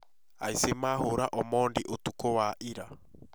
Aici mahũũra Omondi ũtukũ wa ira